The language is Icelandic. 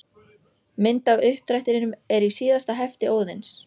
Mynd af uppdrættinum er í síðasta hefti Óðins.